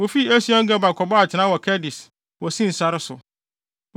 Wofii Esion-Geber kɔbɔɔ atenae wɔ Kades, wɔ Sin sare so.